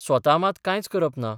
स्वता मात कांयच करप ना.